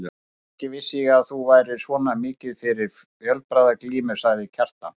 Ekki vissi ég að þú værir svona mikið fyrir fjölbragðaglímu, sagði Kjartan.